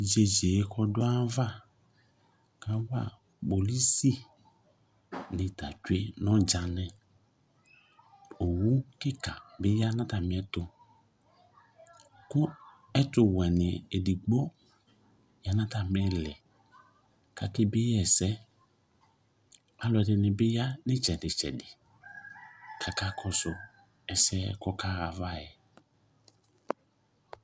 Yeyee k'ɔdʋaava kawa kpolusinɩ t'atsue n'ɔdzanɩ ; owu kɩka bɩ ya n'atamɩɛtʋ Kʋ ɛtʋwɛnɩ edigbo ya n'atamɩlɩ k'ake bieyɩ ɛsɛ Alʋɛdɩnɩ bɩ ya n'ɩtsɛdɩ ɩtsɛdɩ k'aka kɔsʋ ɛsɛɛ kaɣayava yɛ